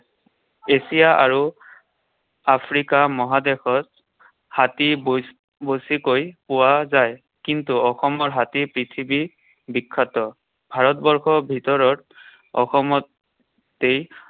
Asia আৰু Africa মহাদেশত হাতী বেছিকৈ পোৱা যায়। কিন্তু অসমৰ হাতী পৃথিৱী বিখ্যাত। ভাৰতবৰ্ষৰ ভিতৰত অসমতেই